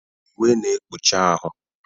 Uwe na-ekpuchi ahụ.